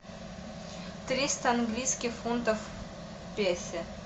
триста английских фунтов в песо